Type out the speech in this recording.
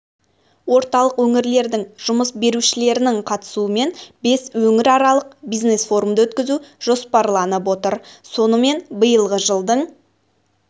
орталық өңірлердің жұмыс берушілерінің қатысуымен бес өңіраралық бизнес форумды өткізу жоспарланып отыр сонымен биылғы жылдың